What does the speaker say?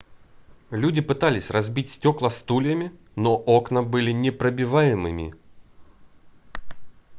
люди пытались разбить стекла стульями но окна были непробиваемыми